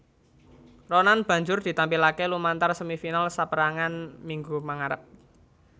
Ronan banjur ditampilaké lumantar semi final saperangan minggu mangarep